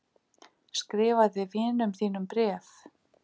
Skrifaði vinum þínum bréf.